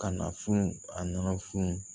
Ka na funu a nana funu